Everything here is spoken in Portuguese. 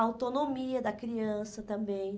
A autonomia da criança também.